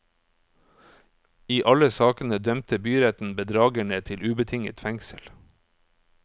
I alle sakene dømte byretten bedragerne til ubetinget fengsel.